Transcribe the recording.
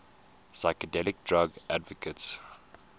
psychedelic drug advocates